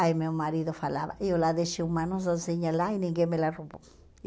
Aí meu marido falava, eu lá deixei uma lá e ninguém me lá roubou.